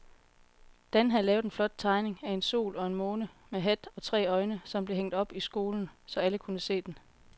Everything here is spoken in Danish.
Dan havde lavet en flot tegning af en sol og en måne med hat og tre øjne, som blev hængt op i skolen, så alle kunne se den.